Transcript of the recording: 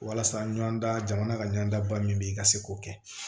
Walasa ɲɔnanda jamana ka ɲɔnda min bɛ i ka se k'o kɛ